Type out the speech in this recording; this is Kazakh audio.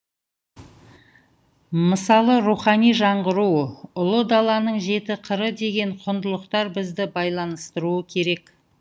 мысалы рухани жаңғыру ұлы даланың жеті қыры деген құндылықтар бізді байланыстыруы керек